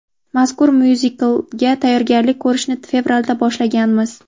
Mazkur myuziklga tayyorgarlik ko‘rishni fevralda boshlaganmiz.